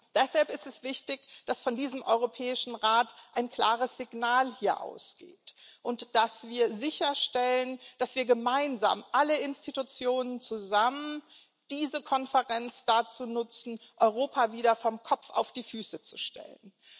Deshalb ist es wichtig, dass von diesem Europäischen Rat hier ein klares Signal ausgeht und dass wir sicherstellen, dass wir gemeinsam alle Institutionen zusammen diese Konferenz dazu nutzen, Europa wieder vom Kopf auf die Füße zu stellen.